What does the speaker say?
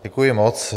Děkuji moc.